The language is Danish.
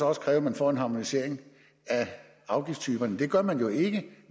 også kræve at man får en harmonisering af afgiftstyperne det gør man jo ikke